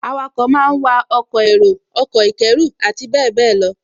Awakọ̀ máa wa ọkọ̀ èrò, ọkọ̀ ìkẹ́rù àti bẹ́ẹ̀bẹ́ẹ̀ lọ